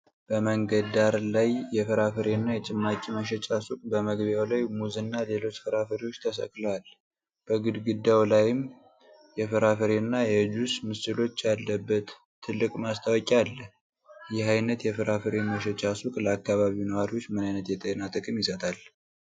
በመንገድ ዳር ያለ የፍራፍሬ እና የጭማቂ መሸጫ ሱቅ በመግቢያው ላይ ሙዝ እና ሌሎች ፍራፍሬዎች ተሰቅለዋል፤ በግድግዳው ላይም የፍራፍሬ እና የጁስ ምስሎች ያለበት ትልቅ ማስታወቂያ አለ። ይህ ዓይነት የፍራፍሬ መሸጫ ሱቅ ለአካባቢው ነዋሪዎች ምን ዓይነት የጤና ጥቅም ይሰጣል?